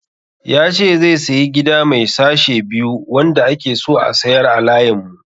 Ya ce zai sayi Gida mai sashe biyu wanda ake so a sayar a layin mu.